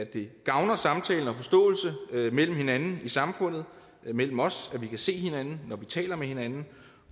det gavner samtalen og forståelsen mellem hinanden i samfundet mellem os at vi kan se hinanden når vi taler med hinanden